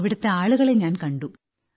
അവിടത്തെ ആളുകളെ ഞാൻ കണ്ടു